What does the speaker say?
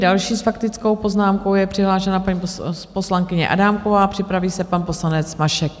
Další s faktickou poznámkou je přihlášena paní poslankyně Adámková, připraví se pan poslanec Mašek.